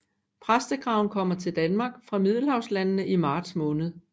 Præstekraven kommer til Danmark fra middelhavslandene i marts måned